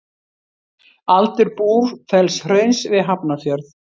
Aldur Búrfellshrauns við Hafnarfjörð.